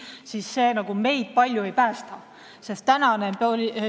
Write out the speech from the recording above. Muidu see piir meid palju ei päästa.